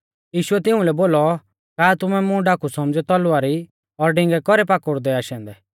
यीशुऐ तिऊं लै बोलौ का तुमै मुं डाकू सौमझ़ियौ तलवारी और डिंगै कौरौ पाकुड़दै आशै औन्दै